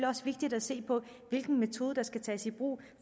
også vigtigt at se på hvilken metode der skal tages i brug